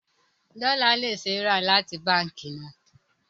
Dollar can be bought from the bank